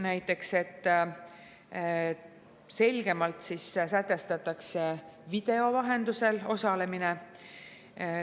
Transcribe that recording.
Näiteks selgemalt sätestatakse video vahendusel osalemine.